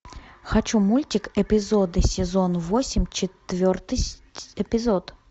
хочу мультик эпизоды сезон восемь четвертый эпизод